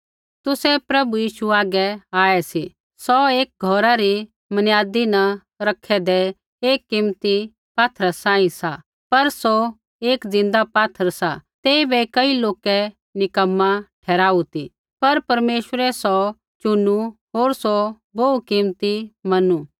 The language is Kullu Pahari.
तुसै प्रभु यीशु हागै आऐ सी सौ एक घौरा री मनियादी न रखैदै एक कीमती पात्थरा सांही सा पर सौ एक ज़िन्दा पात्थर सा तेइबै कई लोकै निक्कमा ठहराऊ ती पर परमेश्वरै सौ चुनु होर सौ बोहू कीमती मनू